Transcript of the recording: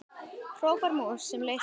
hrópar mús sem leysir vind.